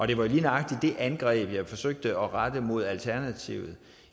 det var lige nøjagtig det angreb jeg forsøgte at rette mod alternativet